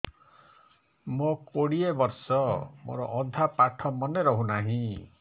ମୋ କୋଡ଼ିଏ ବର୍ଷ ମୋର ଅଧା ପାଠ ମନେ ରହୁନାହିଁ